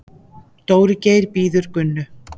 Dóri Geir bíður Gunnu.